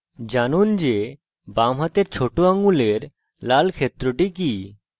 জানুন যে বামহাতের ছোট আঙ্গুলের লাল ক্ষেত্রটি কি